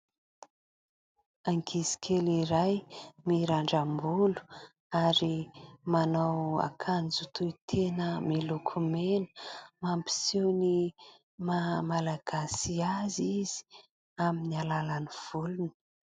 Ankizikely iray mirandram-bolo ary manao akanjo tohi-tena miloko mena, mampiseho ny mahamalagasy azy izy amin'ny alàlan'ny volony.